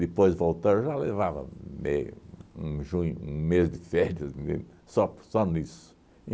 voltar, já levava um mê um junho um mês de férias me só só nisso.